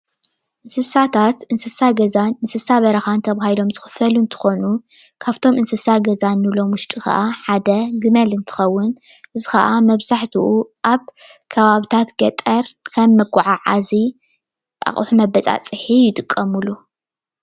እንስሳታት እንስሳ ገዛን እንስሳ በረካን ተባሂሎም ዝከፈሉ እንትኮኑ ካብቶም እንስሳ ገዛ እንብሎም ውሽጢ ከኣ ሓደ ግመል እንተከውን እዚ ከኣ መብዛሕትኡ ኣብ ከባቢታት ገጠር ከም መጓዓዓዚ ኣቁሑ መበፃፅሒ ይጥቀምሉ፡፡